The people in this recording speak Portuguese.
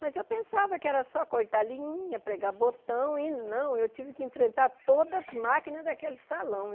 Mas eu pensava que era só cortar linha, pregar botão, e não, eu tive que enfrentar todas as máquinas daquele salão.